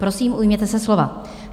Prosím, ujměte se slova.